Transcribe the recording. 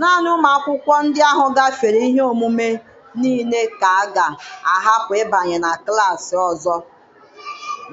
Naanị ụmụ akwụkwọ ndị ahụ gafere ihe ọmụmụ niile ka a ga-ahapụ ịbanye na klassị ọzọ